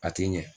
A ti ɲɛ